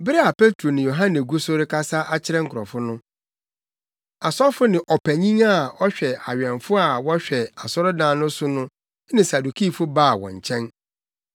Bere a Petro ne Yohane gu so rekasa akyerɛ nkurɔfo no, asɔfo ne ɔpanyin a ɔhwɛ awɛmfo a wɔhwɛ asɔredan no so no ne Sadukifo baa wɔn nkyɛn.